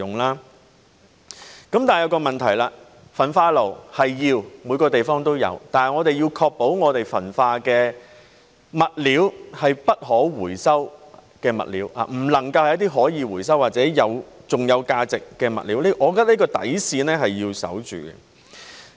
可是，這便有一個問題，焚化爐是需要的，每個地方都有，但我們要確保焚化的物料是不可回收的物料，不能夠是一些可以回收或還有價值的物料，我覺得這條底線是要守護的。